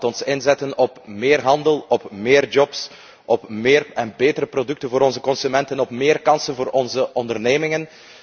Laten we inzetten op meer handel, op meer banen, op meer en betere producten voor onze consumenten, op meer kansen voor onze ondernemingen.